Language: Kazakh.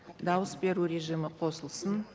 дауыс беру режимі қосылсын